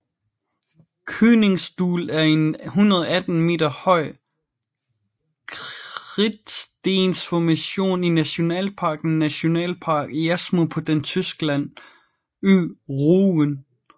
Königsstuhl er en 118 meter høj kridtstensformation i nationalparken Nationalpark Jasmund på den Tyskland ø Rügen